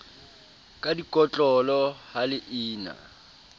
ka dikotlolo ha le ina